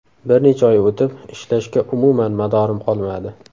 Bir necha oy o‘tib ishlashga umuman madorim qolmadi.